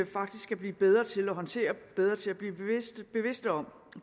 faktisk skal blive bedre til at håndtere bedre til at blive bevidste bevidste om